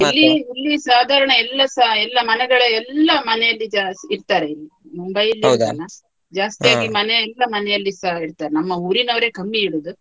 ಇಲ್ಲಿ ಇಲ್ಲಿ ಸಾಧಾರಣ ಎಲ್ಲಸ ಎಲ್ಲ ಮನೆಗಳ ಎಲ್ಲ ಮನೆಯಲ್ಲಿ ಜಾಸ್ತಿ ಇಡ್ತಾರೆ ಇಲ್ಲಿ Mumbai ಜಾಸ್ತಿಯಾಗಿ ಎಲ್ಲ ಮನೆಯಲ್ಲಿಸ ಇಡ್ತಾರೆ ನಮ್ಮ ಉರಿನವರೆ ಕಮ್ಮಿ ಇಡುದು.